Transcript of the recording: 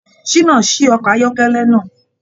Ṣina sí ọkọ ayọkẹlẹ náà.